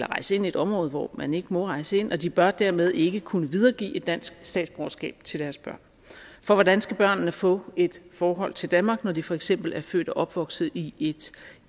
rejse ind i et område hvor man ikke må rejse ind og de bør dermed ikke kunne videregive et dansk statsborgerskab til deres børn for hvordan skal børnene få et forhold til danmark når de for eksempel er født og opvokset i et